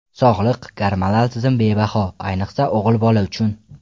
Sog‘lik, gormonal tizim bebaho, ayniqsa o‘g‘il bola uchun.